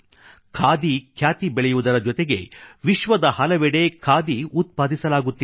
ಖಾದಿ ಖ್ಯಾತಿ ಬೆಳೆಯುವುದರ ಜೊತೆಗೆ ವಿಶ್ವದ ಹಲವೆಡೆ ಖಾದಿ ಉತ್ಪಾದಿಸಲಾಗುತ್ತಿದೆ